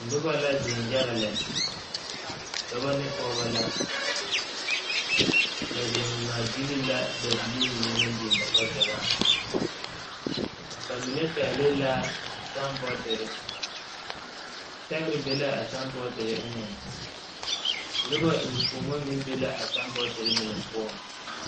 Noba la zeŋ yaga lɛ dɔba ne pɔgeba la ba zeŋ ŋmaagyili la dabilii mine naŋ biŋ ba kpakyagaŋ ba mine pɛgle la saambɔɔtire sɛgre be la a saambɔɔtire eŋɛŋ noba eŋfuonmo meŋ be la a saambɔɔtire mine poɔŋ.